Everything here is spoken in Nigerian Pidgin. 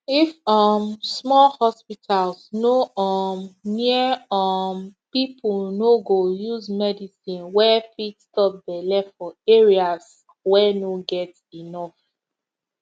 if um small hospitals no um near um people no go use medicine wey fit stop belle for areas wey no get enough